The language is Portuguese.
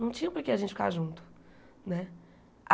Não tinha por que a gente ficar junto né.